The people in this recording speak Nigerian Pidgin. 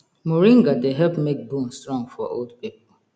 moringa dey help make bone strong for old people